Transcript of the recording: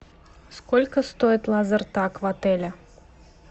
сколько стоит лазертаг в отеле